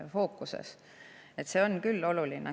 See on küll oluline.